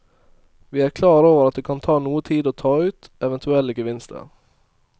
Vi er klar over at det kan ta noe tid å ta ut eventuelle gevinster.